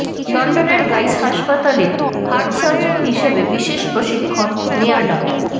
লন্ডনের গাইস হাসপাতলে heart surgeon হিসেবে বিশেষ প্রশিক্ষণ নেয়া ডা